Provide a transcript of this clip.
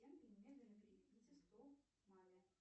немедленно переведите сто маме